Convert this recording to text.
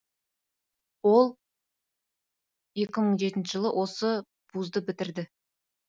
ол екі мың жетінші жылы осы вузды бітірді